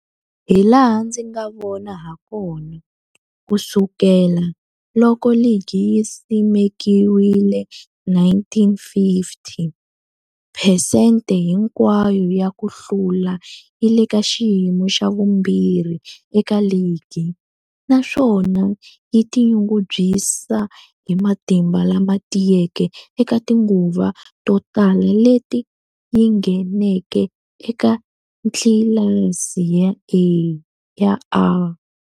Hilaha ndzi nga vona hakona, ku sukela loko ligi yi simekiwile, 1950, phesente hinkwayo ya ku hlula yi le ka xiyimo xa vumbirhi eka ligi, naswona yi tinyungubyisa hi matimba lama tiyeke eka tinguva to tala leti yi ngheneke eka tlilasi ya A.